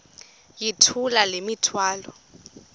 yithula le mithwalo